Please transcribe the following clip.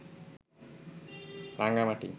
Rangamati